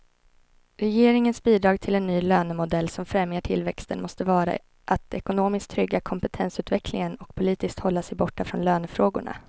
Regeringens bidrag till en ny lönemodell som främjar tillväxten måste vara att ekonomiskt trygga kompetensutvecklingen och politiskt hålla sig borta från lönefrågorna.